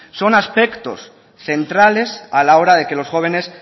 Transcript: son aspectos centrales a la hora de que los jóvenes